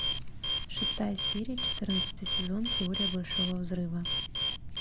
шестая серия четырнадцатый сезон теория большого взрыва